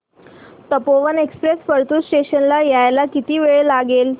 Tapovan express Partur station ला यायला किती वेळ लागेल